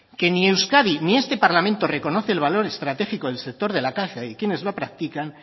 que ni euskadi ni este parlamento reconoce el valor estratégico del sector de la caza y de quienes lo practican